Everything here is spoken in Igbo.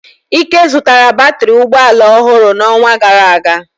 Ike zụtara batrị ụgbọ ala ọhụrụ n'ọnwa gara aga.